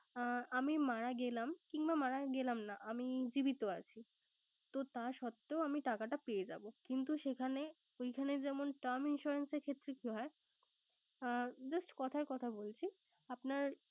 আ~ আমি মারা গেলাম কিংবা আমি মারা গেলাম না। আমি জীবিত আছি তো তা সত্ত্বেও আমি টাকাটা পেয়ে যাবো। কিন্তু সেখানে ওইখানে যেমন term insurance এর ক্ষেত্রে কি হয় আহ just কথার কথা বলছি আপনার।